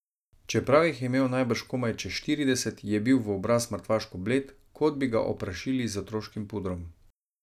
Čeprav jih je imel najbrž komaj čez štirideset, je bil v obraz mrtvaško bled, kot bi ga oprašili z otroškim pudrom.